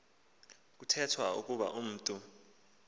kuthethwa ukuba umntu